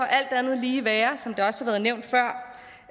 alt andet lige være